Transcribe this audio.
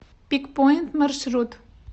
пикпоинт маршрут